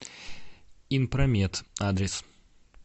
инпромед адрес